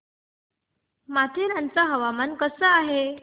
माथेरान चं हवामान कसं आहे